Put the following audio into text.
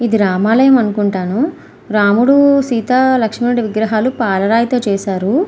ఇది రామాలయం అనుకుంటాను. రాముడు సీతా లక్ష్మణుడు విగ్రహాలు పాలరాయితో చేశారు.